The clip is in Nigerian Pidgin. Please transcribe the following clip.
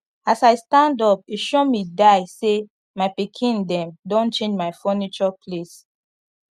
as i stand up e sure mi die say my pikin them don change my funiture place